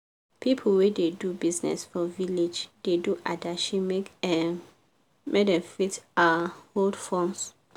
pipu wey da do business for village da do adashi make um dem fit um hold funds